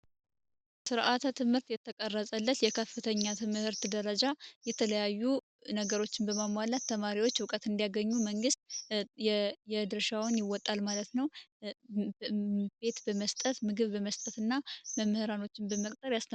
ስርዓተ ትምህርት የተቀረፀለት የከፍተኛ ትምህርት ደረጃ የተለያዩ ነገሮችን በማሟላት ተማሪዎች እውቀት እንዲያገኙ መንግስት የድርሻውን ይወጣል ማለት ነው። ቤት በመስጠት ፣ምግብ በመስጠት እና መምህራኖችን በመቅጠር ያስተምራል።